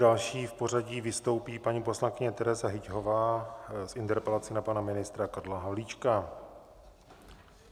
Další v pořadí vystoupí paní poslankyně Tereza Hyťhová s interpelací na pana ministra Karla Havlíčka.